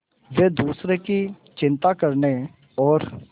वे दूसरों की चिंता करने और